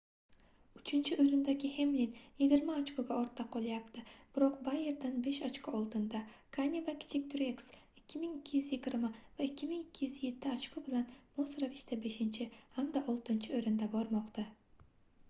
uchinchi oʻrindagi hemlin yigirma ochkoga ortda qolyapti biroq boyerdan besh ochko oldinda kane va kichik trueks 2220 va 2207 ochko bilan mos ravishda beshinchi hamda oltinchi oʻrinda bormoqda